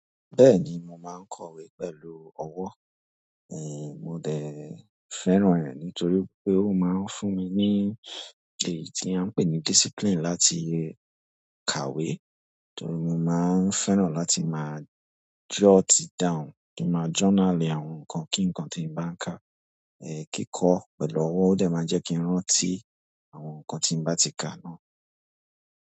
Bẹ́ẹ̀ni mo máa ń kọ̀wé pẹ̀lú ọwọ́, èé mo dẹ̀ ń fẹ́ran rẹ̀ nítorí pé ó máa ń fún mi ní èyí tí a ń pè ní discipline láti kàwé. Torí mo máa ń fẹ́ran láti máa jot it down, tó máa journali àwọn nǹkan kí nǹkan tí mo bá ń kà, eh kíkọ́ pẹ̀lú ọwọ́ ó dẹ̀ máa jẹ́ kí n rán tí àwọn nǹkan tí mo bá ti kà náà.